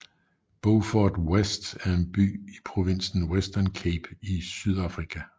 Beaufort West er en by i provinsen Western Cape i Sydafrika